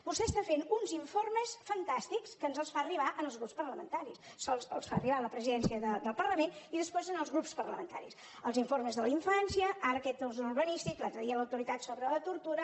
vostè està fent uns informes fantàstics que ens els fa arribar als grups parlamentaris sols els fa arribar a la presidència del parlament i després als grups parlamentaris els informes de la infància ara aquest urbanístic l’altre dia l’autoritat sobre la tortura